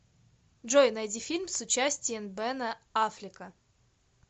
джой найди фильм с участиен бена аффлека